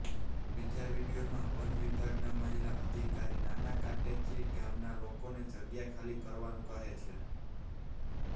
બીજા વીડિયોમાં વન વિભાગના મહિલા અધિકારી નાની કાટેચી ગામના લોકોને જગ્યા ખાલી કરવાનું કહે છે